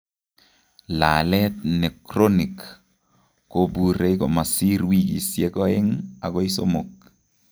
Laalet nechronik kobuure komasir wikisiek oeng' akoi somok